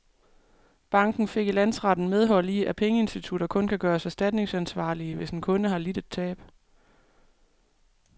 Banken fik i landsretten medhold i, at pengeinstitutter kun kan gøres erstatningsansvarlige, hvis en kunde har lidt et tab.